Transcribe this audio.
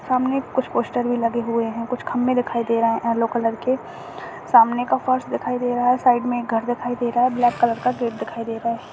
सामने कुछ पोस्टर भी लगे हुए है कुछ खंबे दिखाई दे रहे एल्लो कलर के सामने का फर्श दिखाई दे रहा है साइड मे एक घर दिखाई दे रहा है ब्लैक कलर का गेट दिखाई दे रहा है।